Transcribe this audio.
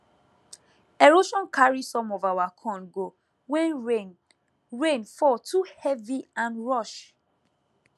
erosion carry some of our corn go when rain rain fall too heavy and rush